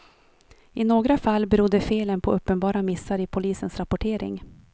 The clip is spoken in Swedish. I några fall berodde felen på uppenbara missar i polisens rapportering.